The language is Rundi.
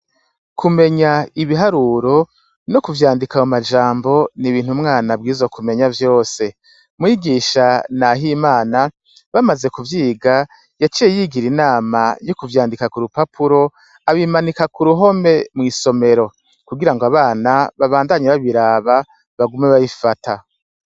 Kumenya ibiharuro no kuvyandika mu majambo ni'ibintu mwana bwizo kumenya vyose mwigisha, naho imana bamaze kuvyiga yaciye yigira inama y'ukuvyandika ku rupapuro abimanika ku ruhome mw'isomero kugira ngo abana babandanye babiraba bagume babie vata.